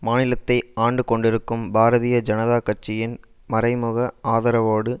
மாநிலத்தை ஆண்டு கொண்டிருக்கும் பாரதீய ஜனதா கட்சியின் மறை முக ஆதரவோடு